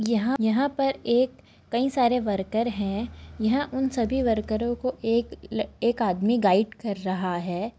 यहाँ यहाँ पर एक कई सारे वर्कर हैं यहाँ उन सभी वर्करो को एक एक आदमी गाइड कर रहा है।